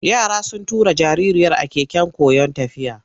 Yara sun tura jaririyar a keken koyon tafiya.